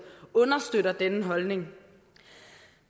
understøtter denne holdning